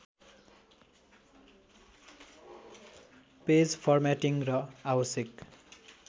page formatting र आवश्यक